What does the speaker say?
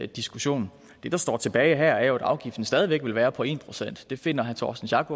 diskussion det der står tilbage her er jo at afgiften stadig væk vil være på en procent det finder herre torsten schack